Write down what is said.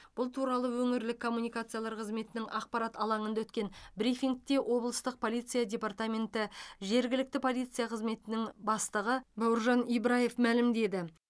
бұл туралы өңірлік коммуникациялар қызметінің ақпарат алаңында өткен брифингте облыстық полиция департаменті жергілікті полиция қызметінің бастығы бауыржан ибраев мәлімдеді